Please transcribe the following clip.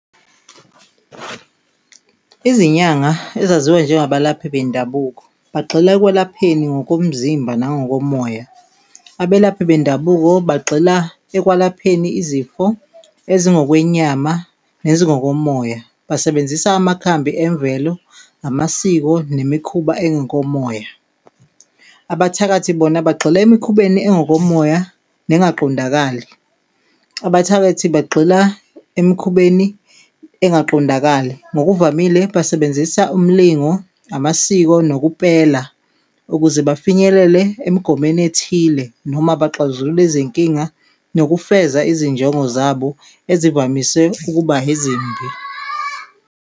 Izinyanga, ezaziwa njengabalaphi bendabuko, bagxila ekwelapheni ngokomzimba nangokomoya. Abelaphi bendabuko bagxila ekwalapheni izifo ezi ngokwenyama nezingokomoya, basebenzisa amakhambi emvelo, namasiko nemikhuba engokomoya. Abathakathi bona bagxila emikhubeni engokomoya nengaqondakali. Abathakathi bagxila emikhubeni engaqondakali, ngokuvamile basebenzisa umlingo, amasiko nokupela, ukuze bafinyelele emgomeni ethile noma baxazulule izinkinga nokufeza izinjongo zabo ezivamise ukuba ezimbi.